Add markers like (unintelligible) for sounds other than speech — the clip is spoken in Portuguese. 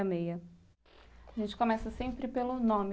(unintelligible) A gente começa sempre pelo nome.